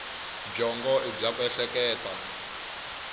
byongo i bya ku ehleketa